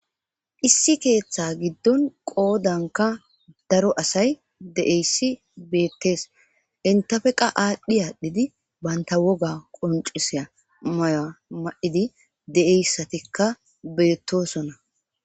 Issi keeththa giddon qoodankka daro asay de'essi beettees. intappekka aadhdhi adhdhi banta woga qonccisyaa maya ma'idi de'iyssatikka beettosona.